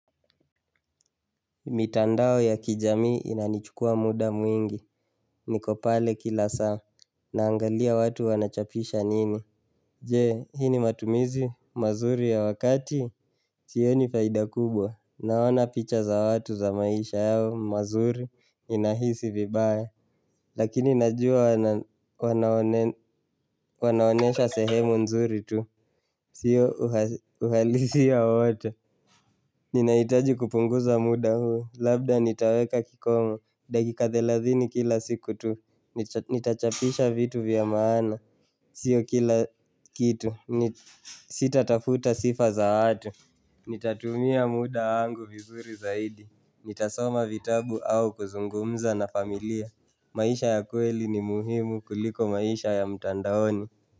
Mitandao ya kijamii inanichukua muda mwingi, nikopale kila saa Naangalia watu wanachapisha nini Jee, hii ni matumizi, mazuri ya wakati Sioni faida kubwa, naona picha za watu za maisha yao, mazuri, ninahisi vibaya Lakini najua wanaonyesha sehemu nzuri tu Sio uhalisi ya watu Ninaitaji kupunguza muda huo, labda nitaweka kikomo, dakika thelathini kila siku tu, nitachapisha vitu vya maana Sio kila kitu, sita tafuta sifa za watu Nitatumia muda wangu vizuri zaidi Nitasoma vitabu au kuzungumza na familia maisha ya kweli ni muhimu kuliko maisha ya mtandaoni.